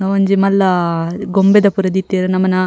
ಒಂದು ಒಂಜಿ ಮಲ್ಲ ಗೊಂಬೆದ ಪೂರ ದೀತೆರ್ ನಮನ --